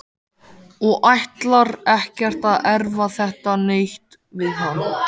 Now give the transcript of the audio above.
Og ætlar ekkert að erfa þetta neitt við hann.